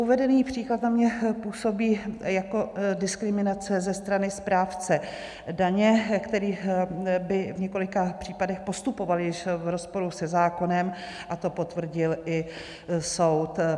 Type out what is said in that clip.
Uvedený příklad za mě působí jako diskriminace ze strany správce daně, který by v několika případech postupoval již v rozporu se zákonem, a to potvrdil i soud.